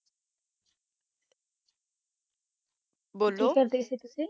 ਬੋਲੋ ਕੀ ਕਰ ਜਾ ਤੁਸੀਂ